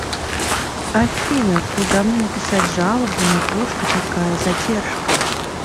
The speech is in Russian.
афина куда мне написать жалобу на то что такая задержка